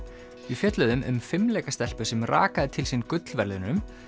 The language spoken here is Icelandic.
við fjölluðum um fimleikastelpu sem rakaði til sín gullverðlaunum